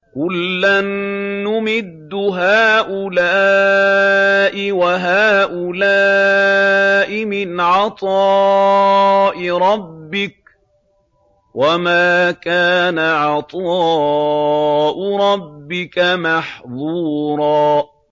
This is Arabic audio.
كُلًّا نُّمِدُّ هَٰؤُلَاءِ وَهَٰؤُلَاءِ مِنْ عَطَاءِ رَبِّكَ ۚ وَمَا كَانَ عَطَاءُ رَبِّكَ مَحْظُورًا